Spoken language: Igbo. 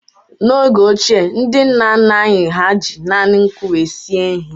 N'oge ochie, ndị nna nna anyị ha ji naanị nkụ wee sie ihe.